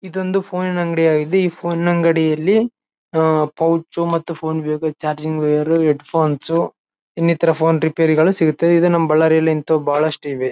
ಇದೊಂದು ಫೋನಿನ ಅಂಗಡಿ ಆಗಿದ್ದು ಈ ಫೋನಿನ ಅಂಗಡಿಯಲ್ಲಿ ಅಹ್ ಪೌಚ್ ಮತ್ತು ಚಾರಜಿಂಗ್ ವೈರ್ ಹೆಡ್ ಫೋನ್ಸ್ ಇನ್ನಿತರ ಫೋನ್ ರಿಪೇರಿಗಳು ಸಿಗುತ್ತವೆ ಇದು ನಮ್ಮ ಬಳ್ಳಾರಿಯಲ್ಲಿ ಇಂತವು ಬಹಳಷ್ಟ ಇವೆ.